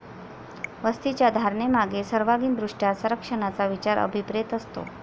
वस्तीच्या धारणेमागे सर्वांगीण दृष्ट्या संरक्षणाचा विचार अभिप्रेत असतो.